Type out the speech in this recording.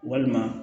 Walima